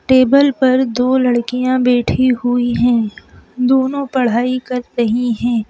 Table पर दो लड़कियां बैठी हुई हैं दोनों पढ़ाई कर रही हैं।